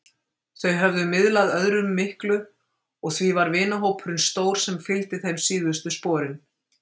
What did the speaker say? Þau höfðu miðlað öðrum miklu og því var vinahópurinn stór sem fylgdi þeim síðustu sporin.